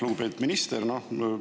Lugupeetud minister!